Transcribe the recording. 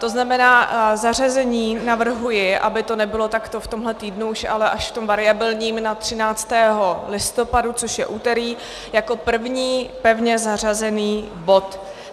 To znamená, zařazení navrhuji, aby to nebylo takto v tomhle týdnu už, ale až v tom variabilním, na 13. listopadu, což je úterý, jako první pevně zařazený bod.